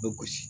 Bɛ gosi